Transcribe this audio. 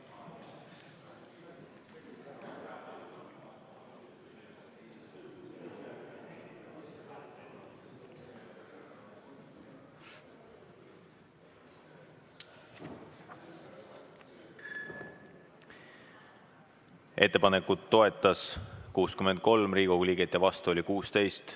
Ettepanekut toetas 63 Riigikogu liiget ja vastu oli 16.